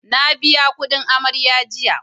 Na biya kudin amarya jiya